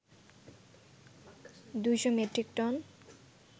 ২শ metric ton